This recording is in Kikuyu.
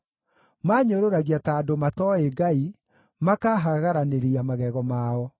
Maanyũrũragia ta andũ matooĩ Ngai, makaahagaranĩria magego mao.